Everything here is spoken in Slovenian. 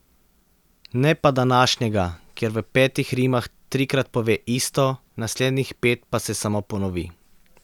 Ne pa današnjega, kjer v petih rimah trikrat pove isto, naslednjih pet pa se samo ponovi.